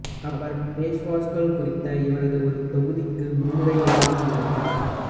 அவர் பேஷ்வாக்கள் குறித்த இவரது ஒரு தொகுதிக்கு முன்னுரை எழுதியிருந்தார்